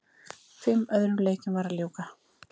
Fimm öðrum leikjum var að ljúka